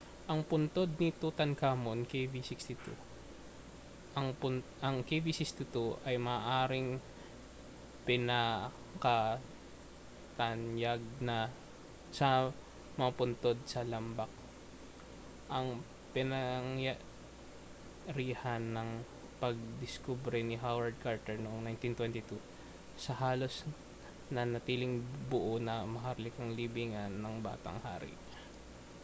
ang puntod ni tutankhamun kv 62. ang kv 62 ay maaaring ang pinakatanyag sa mga puntod sa lambak ang pinangyarihan ng pagdiskubre ni howard carter noong 1922 sa halos nanatiling buo na maharlikang libingan ng batang hari